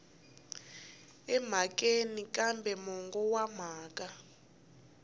emhakeni kambe mongo wa mhaka